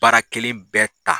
Baara kɛlen bɛɛ ta